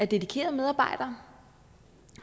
dedikerede medarbejdere